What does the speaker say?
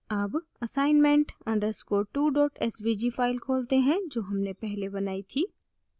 अब assignment _ 2 svg file खोलते हैं जो हमने पहले बनाई थी